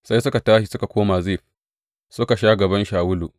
Sai suka tashi suka koma Zif, suka sha gaban Shawulu.